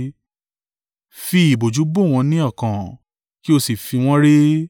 Fi ìbòjú bò wọ́n ní ọkàn, kí o sì fi wọ́n ré.